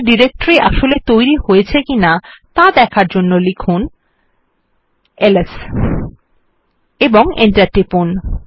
test directory আসলে তৈরী হয়েছে কিনা দেখার জন্য লিখুন এলএস এবং এন্টার টিপুন